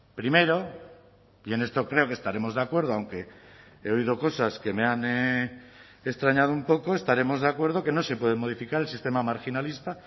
primero y en esto creo que estaremos de acuerdo aunque he oído cosas que me han extrañado un poco estaremos de acuerdo que no se puede modificar el sistema marginalista